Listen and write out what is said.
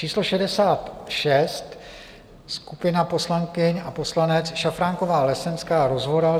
Číslo 66 - skupina poslankyň a poslanec Šafránková, Lesenská, Rozvoral.